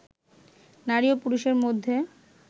নারী ও পুরুষের মধ্যে